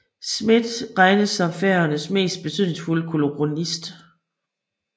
Smith regnes som Færøernes mest betydningsfulde kolorist